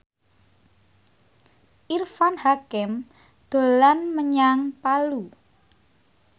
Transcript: Irfan Hakim dolan menyang Palu